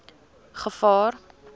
gevaar